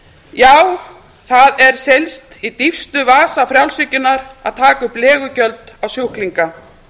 já það er seilst í dýpstu vasa frjálshyggjunnar að taka upp legugjöld á sjúklinga